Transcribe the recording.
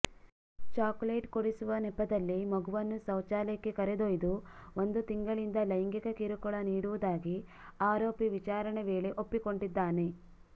chocolate ಕೊಡಿಸುವ ನೆಪದಲ್ಲಿ ಮಗುವನ್ನು ಶೌಚಾಲಯಕ್ಕೆ ಕರೆದೊಯ್ದು ಒಂದು ತಿಂಗಳಿಂದ ಲೈಂಗಿಕ ಕಿರುಕುಳ ನೀಡುವುದಾಗಿ ಆರೋಪಿ ವಿಚಾರಣೆ ವೇಳೆ ಒಪ್ಪಿಕೊಂಡಿದ್ದಾನೆ